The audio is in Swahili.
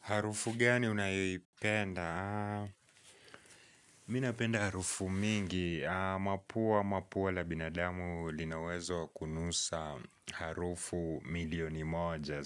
Harufu gani unayoipenda? Mi napenda harufu mingi. Mapua mapua la binadamu lina uwezo kunusa harufu milioni moja.